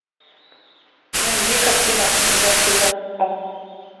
найди картину зло